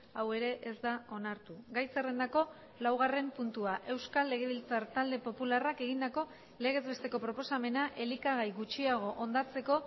hau ere ez da onartu gai zerrendako laugarren puntua euskal legebiltzar talde popularrak egindako legez besteko proposamena elikagai gutxiago hondatzeko